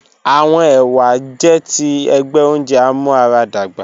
Awọn ewa jẹ ti ẹgbẹ ounjẹ amuaradagba